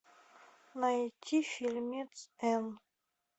найти фильмец энн